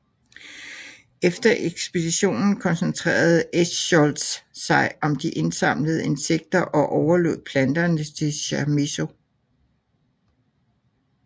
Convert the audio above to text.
Efter ekspeditionen koncentrerede Eschscholtz sig om de indsamlede insekter og overlod planterne til Chamisso